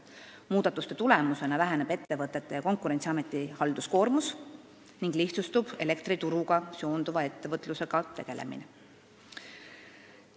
Muudatuste tulemusena väheneb ettevõtete ja Konkurentsiameti halduskoormus ning lihtsustub elektrituruga seonduva ettevõtlusega tegelemine.